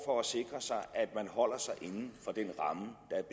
for at sikre sig at man holder sig inden for det